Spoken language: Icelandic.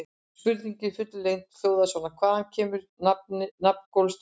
Spurningin í fullri lengd hljóðaði svona: Hvaðan kemur nafn Golfstraumsins?